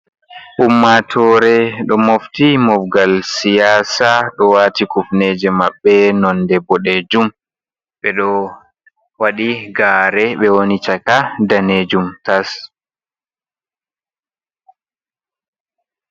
Ummatore do mofti mofgal siyasa. Do wati kufneje mabbe nonde bodejum, be do wadi gare. Be woni chaka danejum tas.